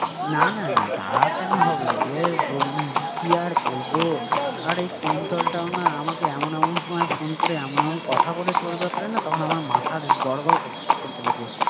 না না না তা কেন হবে? এর ~কি আর বলবো আরে কুন্তলটাও না আমাকে এমন এমন সময় ফোন করে এমন এমন কথা বলে তোর ব্যাপারে না তখন আমার মাথা ~গড়বড় করতে লাগে